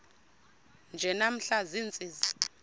nje namhla ziintsizi